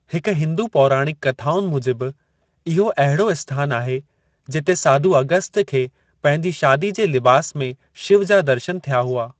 हिक हिंदू पौराणिक कथाउनि मुजिबि, इहो अहिड़ो आस्थानु आहे जिथे साधू अगस्त्य खे पंहिंजी शादी जे लिबासु में शिव जा दर्शनु थिया हुआ।